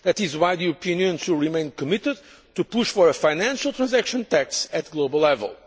That is why the European Union should remain committed to push for a financial transaction tax at global level.